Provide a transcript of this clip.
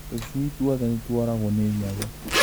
Tũcui tuothe nĩtuoragwo nĩ nyau